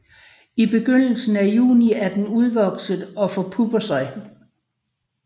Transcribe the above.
I begyndelsen af juni er den udvokset og forpupper sig